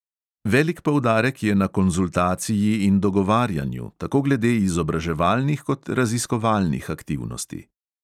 Velik poudarek je na konzultaciji in dogovarjanju, tako glede izobraževalnih kot raziskovalnih aktivnosti.